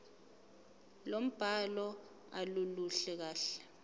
lombhalo aluluhle kahle